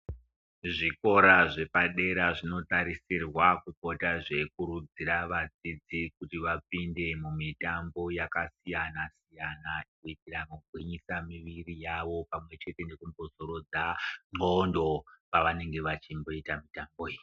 Zvikora zvepadera zvinotarisirwa kupota zveikurudzira wadzidzi kuti wapinde mumitambo yakasiyana siyana kuitira kupisa mimiri yavo pamwe nekudzorodza n'gondo pawanenge wachimboita mitambo iyi.